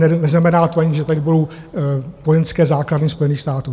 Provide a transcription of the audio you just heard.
Neznamená to ani, že tady budou vojenské základny Spojených států.